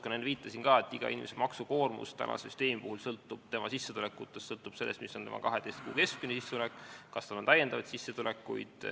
Ma ka enne viitasin, et inimese maksukoormus tänase süsteemi puhul sõltub tema sissetulekutest, sõltub sellest, mis on tema 12 kuu keskmine sissetulek, kas tal on täiendavaid sissetulekuid.